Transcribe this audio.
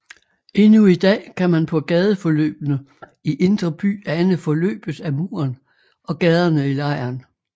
Endnu i dag kan man på gadeforløbene i indre by ane forløbet af muren og gaderne i lejren